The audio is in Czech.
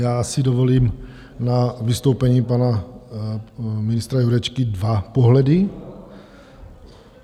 Já si dovolím na vystoupení pana ministra Jurečky dva pohledy.